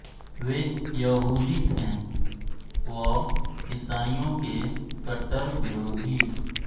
वे यहूदी थे व ईसाईयों के कट्टर विरोधी